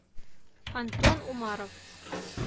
антон умаров